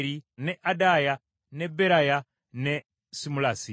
ne Adaaya, ne Beraya, ne Simulasi.